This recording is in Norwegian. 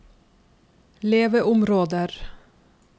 leveområder